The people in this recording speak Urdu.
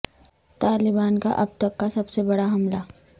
طالبان کا اب تک کا سب سے بڑا حملہ